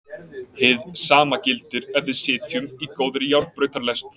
Hið sama gildir ef við sitjum í góðri járnbrautarlest.